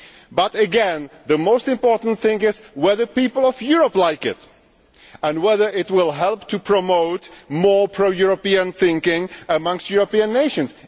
but, again, the most important thing is whether the people of Europe like it and whether it will help to promote more pro European thinking amongst European nations.